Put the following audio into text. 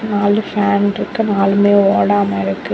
நாலு ஃபேன் இருக்கு நாலுமே ஓடாம இருக்கு.